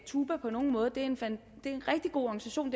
tuba på nogen måde det er en rigtig god organisation